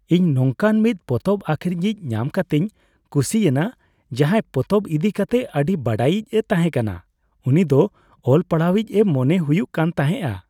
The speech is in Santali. ᱤᱧ ᱱᱚᱝᱠᱟᱱ ᱢᱤᱫ ᱯᱚᱛᱚᱵ ᱟᱹᱠᱷᱨᱤᱧᱤᱡ ᱧᱟᱢ ᱠᱟᱛᱮᱧ ᱠᱩᱥᱤᱭᱮᱱᱟ ᱡᱟᱦᱟᱸᱭ ᱯᱚᱛᱚᱵ ᱤᱫᱤ ᱠᱟᱛᱮᱜ ᱟᱹᱰᱤ ᱵᱟᱰᱟᱭᱤᱡᱼᱮ ᱛᱟᱦᱮᱸᱠᱟᱱᱟ ᱾ ᱩᱱᱤ ᱫᱚ ᱚᱞᱼᱯᱟᱲᱦᱟᱣᱤᱡ ᱮ ᱢᱚᱱᱮ ᱦᱩᱭᱩᱜ ᱠᱟᱱ ᱛᱟᱦᱮᱸᱜᱼᱟ ᱾